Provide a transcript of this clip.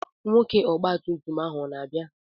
Nwoke ọgba tum tum ahụ o na-abịa?